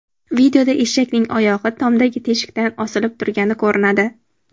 Videoda eshakning oyog‘i tomdagi teshikdan osilib turgani ko‘rinadi.